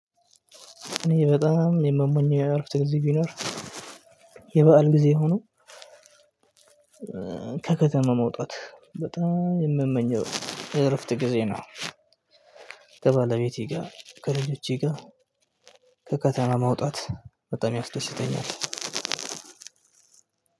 እኔ በጣም የምመኘው ያልኩት ጊዜ ቢኖር የበአል ጊዜ ሆኖ ከከተማ መውጣት በጣም የምመኘው እረፍት ጊዜ ነው ከባለቤቴ ጋር ከልጆቼ ጋር ከከተማ ማውጣት በጣም ያስደስተኛል።